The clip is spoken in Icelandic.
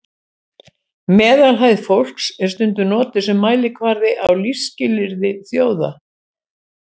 meðalhæð fólks er stundum notuð sem mælikvarði á lífsskilyrði þjóða